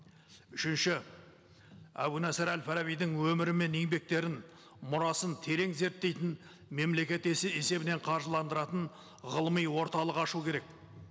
үшінші әбу насыр әл фарабидің өмірі мен еңбектерін мұрасын терең зерттейтін мемлекет есебінен қаржыландыратын ғылыми орталық ашу керек